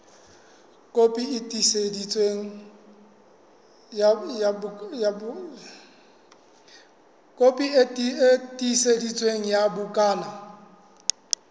kopi e tiiseditsweng ya bukana